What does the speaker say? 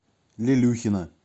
лелюхина